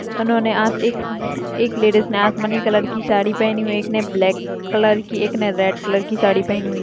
उन्होंने आज एक-एक लेडिस ने आसमानी कलर की साड़ी पहनी हुई है एक ने ब्लैक कलर की एक रेड कलर की साड़ी पहनी हुई।